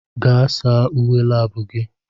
Gaa saa uwe lab gị!